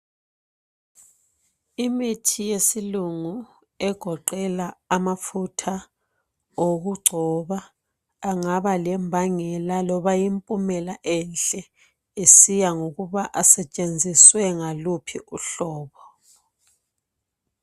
Imithi yesilungu, egoqela amafutha okugcoba, angaba lembangela, loba impumela enhle. Kusiya ngokuthi asetshenziswe ngaluphi uhlobo.